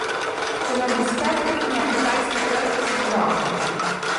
Če nam uspe priti na kitajski trg, bo dobro.